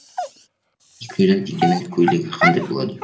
екі миллион теңгенің көйлегі қандай болады